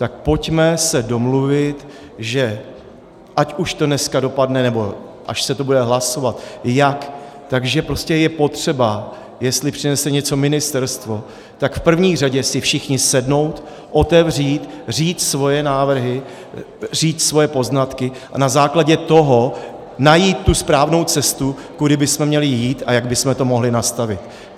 Tak pojďme se domluvit, že ať už do dneska dopadne, nebo až se to bude hlasovat, jak, že prostě je potřeba, jestli přinese něco ministerstvo, tak v první řadě si všichni sednout, otevřít, říct svoje návrhy, říct svoje poznatky a na základě toho najít tu správnou cestu, kudy bychom měli jít a jak bychom to mohli nastavit.